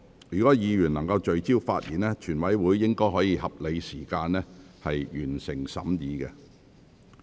若議員能聚焦發言，全體委員會應可在合理時間內完成審議。